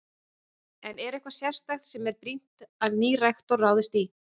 En er eitthvað sérstakt sem að er brýnt að nýr rektor ráðist í?